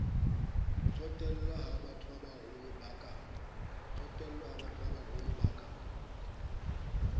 tsotelle ha bathobabaholo ba ka